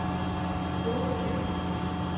Bogø By